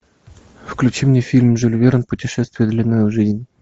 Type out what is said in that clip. включи мне фильм жюль верн путешествие длиною в жизнь